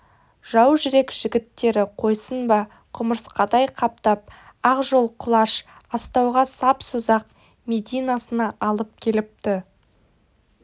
жау жүрек жігіттері қойсын ба құмырысқадай қаптап ақжол құлаш астауға сап созақ мединасына алып келіпті